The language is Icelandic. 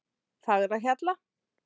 Fagrahjalla